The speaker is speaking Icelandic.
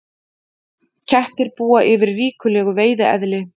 Kettir búa yfir ríkulegu veiðieðli.